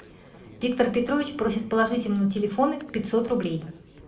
виктор петрович просит положить ему на телефоны пятьсот рублей